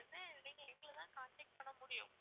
அந்த time ல வந்து நீங்க எங்களை தான் contact பண்ண முடியும்